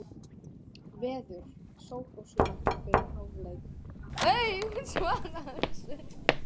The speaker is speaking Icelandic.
Gerald, hversu margir dagar fram að næsta fríi?